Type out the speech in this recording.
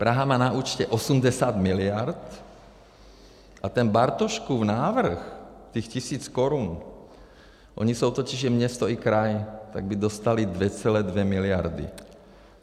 Praha má na účtě 80 miliard a ten Bartoškův návrh, těch tisíc korun, oni jsou totiž město i kraj, tak by dostali 2,2 miliardy.